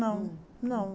Não, não.